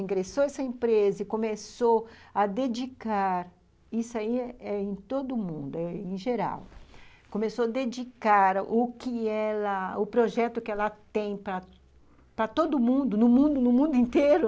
Ingressou essa empresa e começou a dedicar , isso aí é eh eh em todo mundo, eh em geral, começou a dedicar o que ela, o projeto que ela tem para para todo mundo, no mundo inteiro,